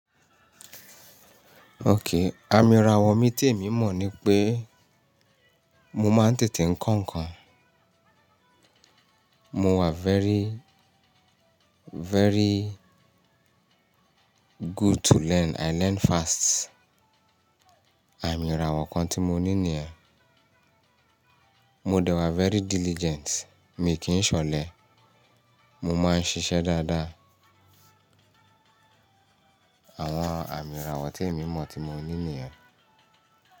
Okay, àmì ìràwọ̀ mi tí èmi mọ̀ ni pé mo máa ń tètè ń kọ́ nǹkan. Mo wà very, very good to learn. I learn fast. Àmì ìràwọ̀ kan tí mo ní nìyẹn. Mo dẹwàá very diligent. Èmi kì í ṣe ọ̀lẹ. Mo máa ń ṣiṣẹ́ dáadáa. Àwọn àmì ìràwọ̀ tí èmi mọ̀ tí mo ní nìyẹn.